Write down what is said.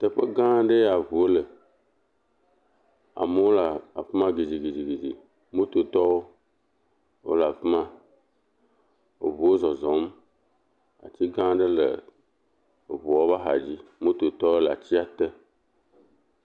Teƒe gã ɖe ya ŋuwo le, amewo le afi ma gidigidigidi, mototɔwo wole afi ma, eŋuwo zɔzɔm ati gã aɖe le eŋuwo ƒe axa dzi, mototɔwo le atia te.